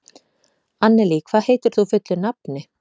Annelí, hvað heitir þú fullu nafni?